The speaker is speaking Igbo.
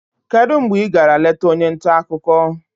kedu mgbe ị gara leta onye nta akụkọ?